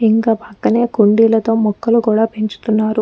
ఇంక పక్కనే కుండీలతో మొక్కలు కూడా పెంచుతున్నారు.